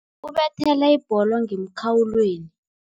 Ubethele ibholo ngemkhawulweni.